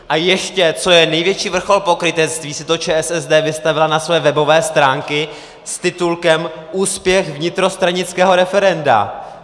A ještě, co je největší vrchol pokrytectví, si to ČSSD vystavila na své webové stránky s titulkem Úspěch vnitrostranického referenda.